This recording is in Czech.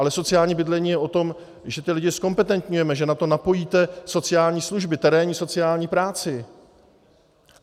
Ale sociální bydlení je o tom, že ty lidi zkompetentňujeme, že na to napojíte sociální služby, terénní sociální práci.